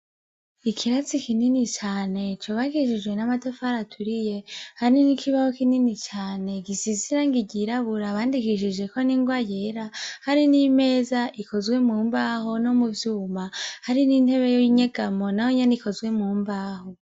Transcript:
Ikirasi kinini cane cubakishijwe n' amatafari aturiye ,hamwe n'ikibaho kinini cane gisiz'irangi ryirabura bandikishijeko n'ingwa yera, hari n'imeza ikozwe mu mbaho no mu vyuma hariho n'intebe y'inyegamo nayonyene ikozwe mumbaho .